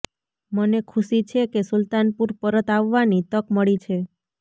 મને ખુશી છે કે સુલ્તાનપુર પરત આવવાની તક મળી છે